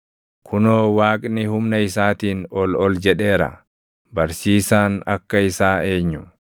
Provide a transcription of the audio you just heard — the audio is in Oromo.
“Kunoo Waaqni humna isaatiin ol ol jedheera; barsiisaan akka isaa eenyu?